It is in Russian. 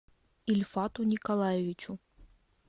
ильфату николаевичу